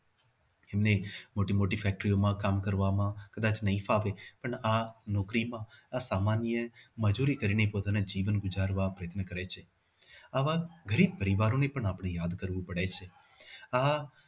એમને મોટી ફેક્ટરીઓમાં કામ કરવામાં કદાચ નહી ફાવે પણ આ નોકરીમાં આ સામાન્ય મજુરી કરીને અને જીવન ગુજારવા કરે છે. આવા ગરીબ પરિવારો ની પણ આપણે વાત કરવી પડે છે આ